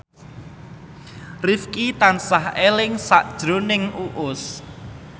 Rifqi tansah eling sakjroning Uus